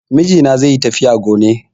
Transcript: Mijina zaiyi tafiya gone